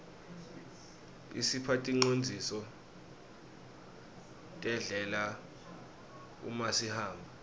isipha ticondziso terdlela umasihamba